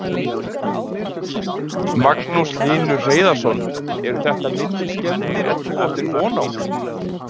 Magnús Hlynur Hreiðarsson: Eru þetta minni skemmdir en þú áttir von á?